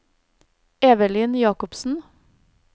Evelyn Jacobsen